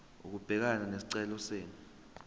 ukubhekana nesicelo senu